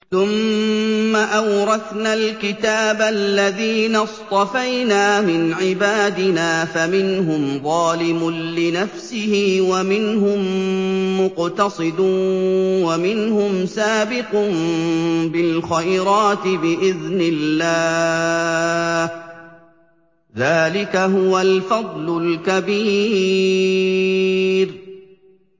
ثُمَّ أَوْرَثْنَا الْكِتَابَ الَّذِينَ اصْطَفَيْنَا مِنْ عِبَادِنَا ۖ فَمِنْهُمْ ظَالِمٌ لِّنَفْسِهِ وَمِنْهُم مُّقْتَصِدٌ وَمِنْهُمْ سَابِقٌ بِالْخَيْرَاتِ بِإِذْنِ اللَّهِ ۚ ذَٰلِكَ هُوَ الْفَضْلُ الْكَبِيرُ